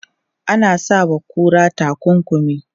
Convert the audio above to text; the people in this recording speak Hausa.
Ana sa wa kura takunkumi.